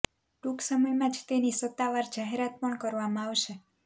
ટૂંક સમયમાં જ તેની સત્તાવાર જાહેરાત પણ કરવામાં આવશે